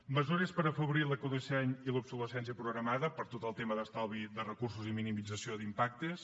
mesures per afavorir l’ecodisseny i la lluita contra l’obsolescència programada per tot el tema d’estalvi de recursos i minimització d’impactes